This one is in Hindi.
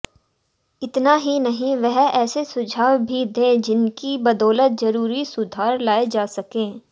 इतना ही नहीं वह ऐसे सुझाव भी दे जिनकी बदौलत जरूरी सुधार लाए जा सकें